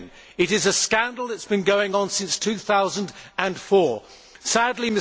It is a scandal that has been going on since 2004, sadly.